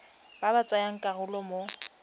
ba ba tsayang karolo mo